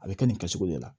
A bɛ kɛ nin kɛcogo de la